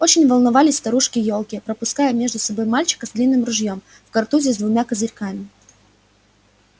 очень волновались старушки-ёлки пропуская между собой мальчика с длинным ружьём в картузе с двумя козырьками